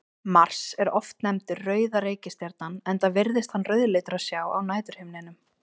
Mars er oft nefndur rauða reikistjarnan enda virðist hann rauðleitur að sjá á næturhimninum.